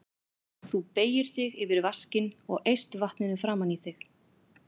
Þú beygir þig yfir vaskinn og eyst vatninu framan í þig.